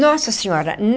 Nossa Senhora!